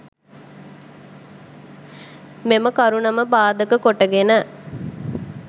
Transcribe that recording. මෙම කරුණම පාදක කොටගෙන